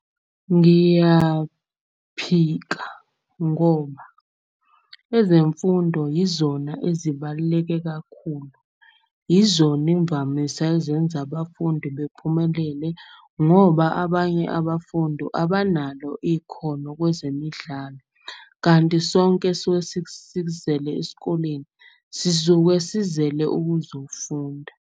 Ngiyaphika ngoba ezemfundo izona ezibaluleke kakhulu, izona imvamisa ezenza abafundi bephumelele. Ngoba abanye abafundu abanalo ikhono kwezemidlalo. Kanti sonke esuke sikuzele esikoleni sisuke sizele ukuzofunda.